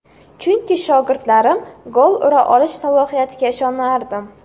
Chunki shogirdlarim gol ura olish salohiyatiga ishonardim.